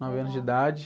Nove anos de idade.